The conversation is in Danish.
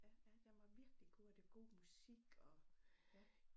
Ja ja den var virkelig god og det god musik og ja